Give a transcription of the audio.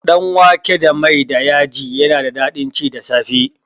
Danwake da mai da yaji yana da daɗin ci da safe